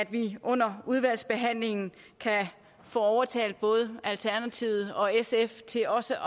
vi under udvalgsbehandlingen kan få overtalt både alternativet og sf til også